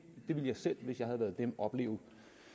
ville jeg selv opleve